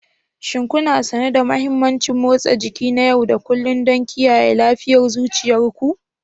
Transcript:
Shin kuna sane da mahimmancin motsa jiki na yau da kullun don kiyaye lafiyar zuciyar ku?